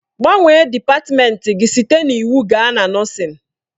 Gbanwee dịpatmenti gị site na iwu gaa na nọọsịn!